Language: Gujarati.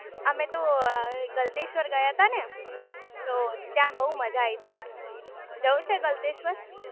અમે તો ગલતેશ્વર ગયા તા ને તો ત્યાં બહુ માજા આઈ ટી જવું છે ત્યાં